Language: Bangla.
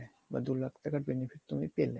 বা দু লাখ টাকার benefit তুমি পেলে